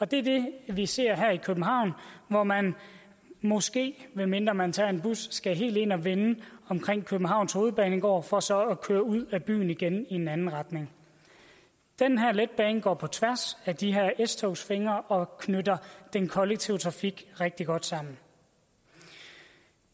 det er det vi ser her i københavn hvor man måske medmindre man tager en bus skal helt ind og vende omkring københavns hovedbanegård for så at køre ud af byen igen i en anden retning den her letbane går på tværs af de s togsfingre og knytter den kollektive trafik rigtig godt sammen